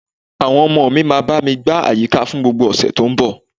Àwọn ọmọ mi máa bá mi gbá àyíká fún gbogbo ọ̀sẹ̀ tó ń bọ̀